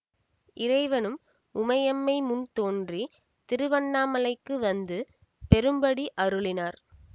இறைவனும் உமையம்மை முன் தோன்றி திருவண்ணாமலைக்கு வந்து பெறும்படி அருளினார்